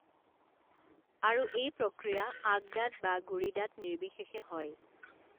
আৰু এই প্ৰক্ৰিয়া আগদাঁত বা গুড়িদাঁত নিৰ্বিশেষে হয়